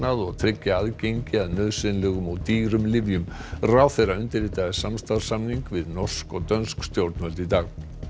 og tryggja aðgengi að nauðsynlegum og dýrum lyfjum ráðherra undirritaði samstarfssamning við norsk og dönsk stjórnvöld í dag